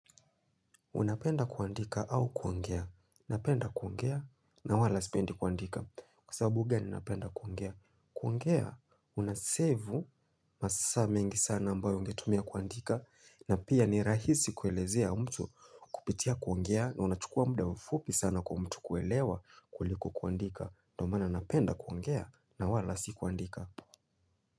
Unapenda kuandika au kuongea, napenda kuongea na wala sipendi kuandika kwa sababu gani napenda kuongea. Kuongea, kunasevu masaa mengi sana ambayo ungetumia kuandika na pia ni rahisi kuelezea mtu kupitia kuongea na unachukua muda fupi sana kwa mtu kuelewa kuliko kuandika. Ndio maana napenda kuongea na wala si kuandika.